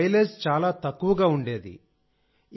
దాని మైలేజ్ చాలా తక్కువగా ఉండేది